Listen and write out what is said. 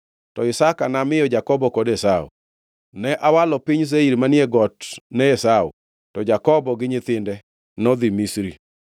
to Isaka namiyo Jakobo kod Esau. Ne awalo piny Seir manie got ne Esau, to Jakobo gi nyithinde nodhi Misri.